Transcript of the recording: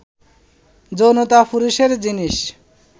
যৌনতা পুরুষের জিনিস